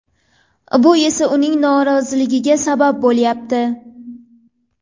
Bu esa uning noroziligiga sabab bo‘lyapti.